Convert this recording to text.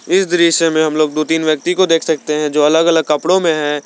इस दृश्य में हम लोग दो तीन व्यक्ति को देख सकते हैं जो अलग अलग कपड़ों में है।